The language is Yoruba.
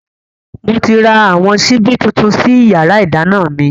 Moti ra àwọn síbí tuntun sí yàrá ìdáná mi